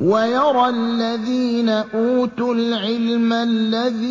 وَيَرَى الَّذِينَ أُوتُوا الْعِلْمَ الَّذِي